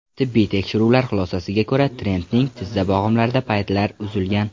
Tibbiy tekshiruvlar xulosasiga ko‘ra, Trentning tizza bo‘g‘imlarida paylar uzilgan.